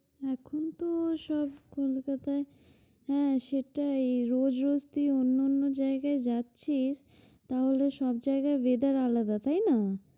এখনতো সব কলকাতায় হ্যাঁ সেটাই রোজ রোজ তুই অন্যান্য জায়গায় যাচ্ছিস, তাহলে সব জায়গায় weather আলাদা, তাই না?